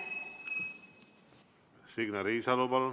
Signe Riisalo, palun!